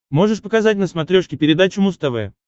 можешь показать на смотрешке передачу муз тв